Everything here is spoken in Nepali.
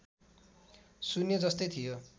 शून्य जस्तै थियो